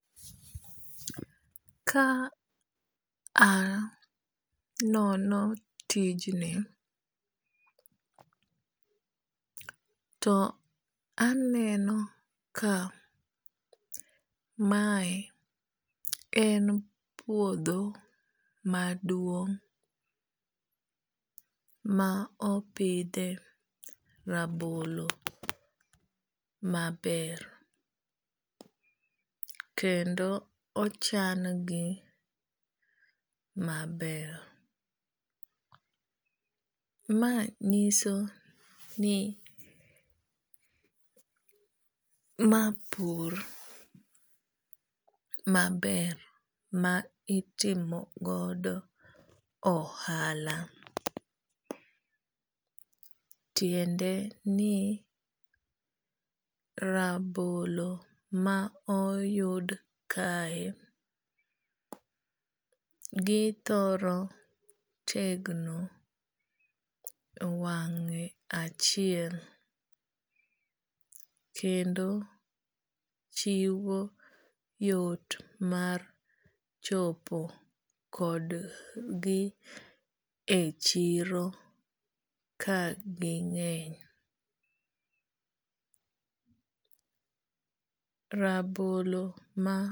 Ka anono tijni to aneno ka mae en puodho maduong' ma opidhe rabolo maber. Kendo ochan gi maber. Ma nyiso ni ma pur ma ber ma itimo godo ohala. Tiende ni rabolo ma oyud kae githoro tegno weng'e achiel kendo chiwo yot mar chopo kod gi e chiro ka ging'eny. Rabolo ma.